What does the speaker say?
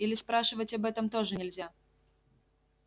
или спрашивать об этом тоже нельзя